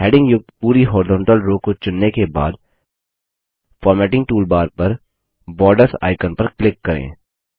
heading युक्त पूरी horizontal row को चुनने के बाद फॉर्मेटिंग टूलबार पर बॉर्डर्स आइकन पर क्लिक करें